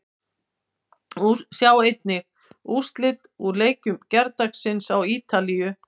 Sjá einnig: Úrslit úr leikjum gærdagsins á Ítalíu